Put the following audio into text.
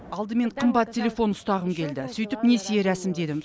алдымен қымбат телефон ұстағым келді сөйтіп несие рәсімдедім